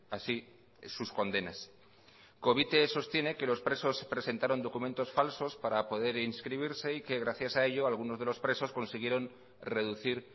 así sus condenas covite sostiene que los presos presentaron documentos falsos para poder inscribirse y que gracias a ello algunos de los presos consiguieron reducir